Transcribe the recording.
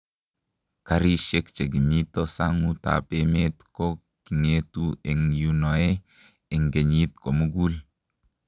karisiek che kimito sang'utab emet ko king'etu eng' yunoe eng' kenyit ko mugul